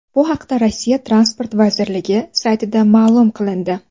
Bu haqda Rossiya Transport vazirligi saytida ma’lum qilindi .